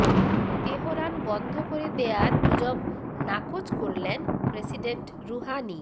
Tehran বন্ধ করে দেয়ার গুজব নাকচ করলেন প্রেসিডেন্ট রুহানি